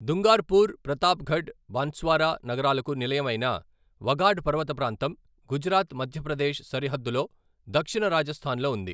దుంగార్పూర్, ప్రతాప్గఢ్, బన్స్వారా నగరాలకు నిలయం అయిన వగాడ్ పర్వత ప్రాంతం, గుజరాత్, మధ్యప్రదేశ్ సరిహద్దులో దక్షిణ రాజస్థాన్ లో ఉంది.